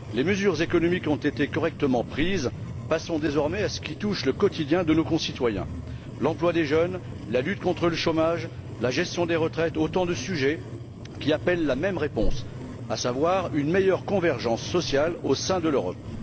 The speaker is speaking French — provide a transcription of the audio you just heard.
Les mesures économiques ont été correctement prises, passons maintenant à ce qui touche au quotidien de nos concitoyens l'emploi des jeunes, la lutte contre le chômage, la gestion des retraites, autant de sujets qui appellent la même réponse, à savoir une meilleure convergence sociale au sein de l'Europe.